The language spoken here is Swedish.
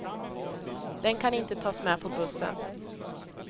Den kan inte tas med på bussen.